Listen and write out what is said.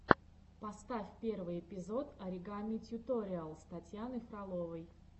поставь первый эпизод оригами тьюториалс татьяны фроловой